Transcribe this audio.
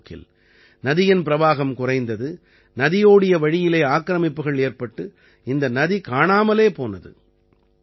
காலப்போக்கில் நதியின் பிரவாகம் குறைந்தது நதியோடிய வழியிலே ஆக்ரமிப்புகள் ஏற்பட்டு இந்த நதி காணாமலே போனது